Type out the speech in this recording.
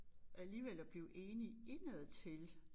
Alligevel at blive enige indadtil